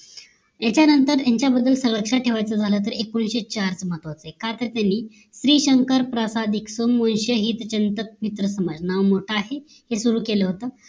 याच्या नंतर यांच्याबद्दल लक्ष्यात ठेवायचं झाला तर एकोणीशे चार महत्वाचं आहे का तर श्रीशंकर प्रासादिक स्म्मोहित श हित चिंतक मित्र समाज नाव मोठा आहे हे सुरु केलं होत